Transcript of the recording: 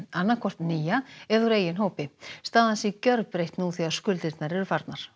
annað hvort nýja eða úr eigin hópi staðan sé gjörbreytt nú þegar skuldirnar eru farnar